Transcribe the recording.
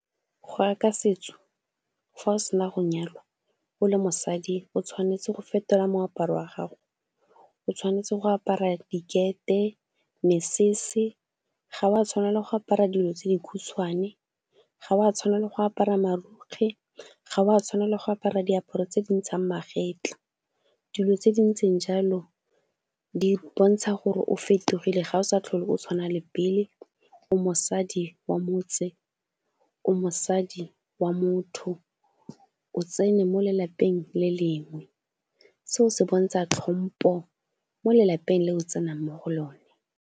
Go ya ka setso fa o se na go nyalwa o le mosadi o tshwanetse go fetola moaparo wa gago, o tshwanetse go apara dikete, mesese, ga o a tshwanela go apara dilo tse dikhutshwane, ga o a tshwanela go apara marukgwe, ga o a tshwanela go apara diaparo tse di ntshang magetlha. Dilo tse di ntseng jalo di bontsha gore o fetogile ga o sa tlhole o tshwana le pele o mosadi wa motse, o mosadi wa motho. O tsene mo lelapeng le lengwe se o se bontsha hlompo mo lelapeng le o tsenang mo go lone.